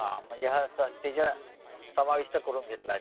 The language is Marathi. हा हा म्हणजे हा संस्थेचा मध्ये समाविष्ट करून घेतला आहे त्यांनी